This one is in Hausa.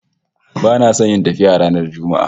Bana son yin tafiya ranar Juma'a